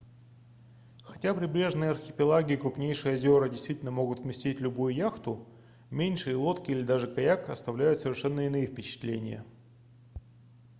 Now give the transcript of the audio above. хотя прибрежные архипелаги и крупнейшие озера действительно могут вместить любую яхту меньшие лодки или даже каяк оставляют совершенно иные впечатления